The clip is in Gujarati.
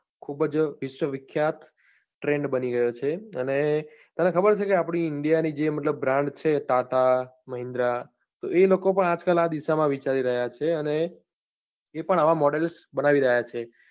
ખુબજ વિશ્વ વિખ્યાત trend બની ગયો છે અને તને ખબર છે કે આપની india ની જે મતલબ brand છે tata, mahindra તો એ લોકો પણ આજકાલ આ દિશા માં વિચારી રહ્યા છે અને એ પણ આવા model બનાવી રહ્યા છે.